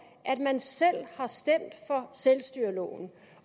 at man selv har stemt for selvstyreloven